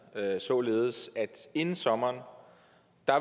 således at der inden sommer